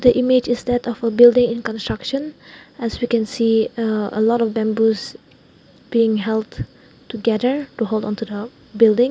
image is that that of a building and construction as we can see ah a lot of bamboos being held together to hold on to the building.